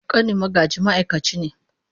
Ƙanin Magaji ma’aikaci ne.